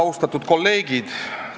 Austatud kolleegid!